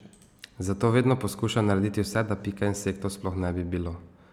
Zato vedno poskušajmo narediti vse, da pika insektov sploh ne bi bilo.